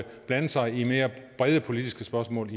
blande sig i mere brede politiske spørgsmål